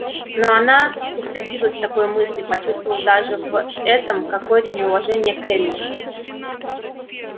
но она устыдилась такой мысли почувствовав даже в этом какое-то неуважение к эллин